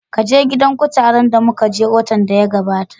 Kaje gidan kutaren da muka je watan da ya gabata